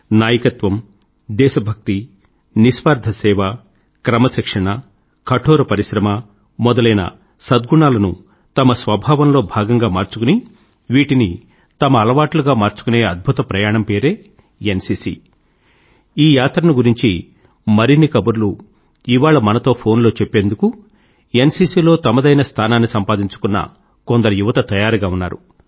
నాయకత్వం దేశభక్తి నిస్వార్థ సేవ క్రమశిక్షణ కఠోర పరిశ్రమ మొదలైన సద్గుణాలను తమ స్వభావంలో భాగంగా మార్చుకుని వీటిని తమ అలవాట్లుగా మార్చుకునే అద్భుత ప్రయాణం పేరే ఎన్సీసీ ఈ యాత్రను గురించి మరిన్ని కబుర్లు ఇవాళ మనతో ఫోన్లో చెప్పుకుందుకు ఎన్సీసీ లో తమదైన స్థానాన్ని సంపాదించుకున్న కొందరు యువత తయారుగా ఉన్నారు